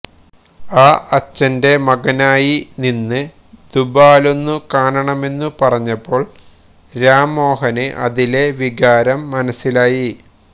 ആ അച്ഛന്റെ മകനായി നിന്ന് ദുബാലൊന്നു കാണണമെന്നു പറഞ്ഞപ്പോള് രാംമോഹന് അതിലെ വികാരം മനസ്സിലായി